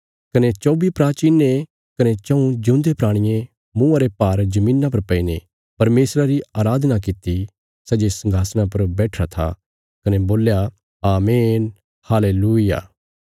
कने चौबी प्राचीनें कने चऊँ जिऊंदे प्राणियें मुँआ रे भार धरतिया पर पैईने परमेशर री अराधना कित्ती सै जे संघासणा पर बैठिरा था कने बोल्या आमीन हालेलूय्याह